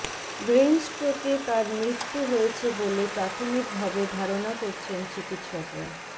ব্রেইনস্ট্রোকে তার মৃত্যু হয়েছে বলে প্রাথমিকভাবে ধারণা করছেন চিকিৎসকরা